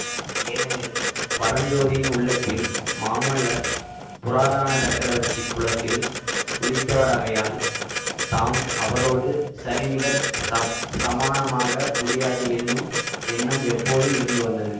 ஏனெனில் பரஞ்சோதியின் உள்ளத்தில் மாமல்லர் புரதான சக்கரவர்த்தி குலத்தில் உதித்தவராகையால் தாம் அவரோடு சரி நிகர் சம் சமானமாக முடியாது என்னும் எண்ணம் எப்போதும் இருந்து வந்தது